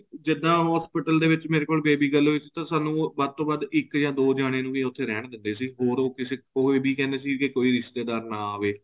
ਜਿੱਦਾਂ hospital ਦੇ ਵਿੱਚ ਮੇਰੇ ਕੋਲ baby girl ਹੋਈ ਸੀ ਤਾਂ ਸਾਨੂੰ ਵੱਧ ਤੋ ਵੱਧ ਇੱਕ ਜਾ ਦੋ ਜਣੇ ਨੂੰ ਵੀ ਉੱਥੇ ਰਹਿਣ ਦਿੰਦੇ ਸੀ ਹੋਰ ਉਹ ਇਹ ਵੀ ਕਹਿੰਦੇ ਸੀ ਕਿ ਕੋਈ ਰਿਸ਼ਤੇਦਾਰ ਨਾ ਆਵੇ